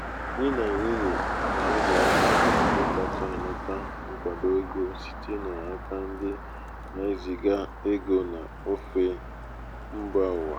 di na nwunye na ụmụaka na ụmụaka bụ ndị kacha anata nkwado ego site n’aka ndị na-eziga ego n’ofe mba ụwa.